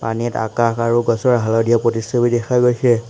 । পানীত আকাশ আৰু গছৰ হালধীয়া প্ৰতিচ্ছবি দেখা গৈছে।